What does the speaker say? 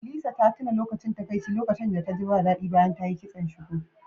Lisa ta tuna lokacin takaici lokacin da taji ba daɗi bayan ta yi kiston shuku